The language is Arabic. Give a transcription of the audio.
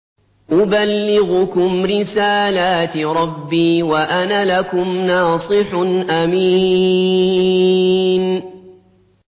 أُبَلِّغُكُمْ رِسَالَاتِ رَبِّي وَأَنَا لَكُمْ نَاصِحٌ أَمِينٌ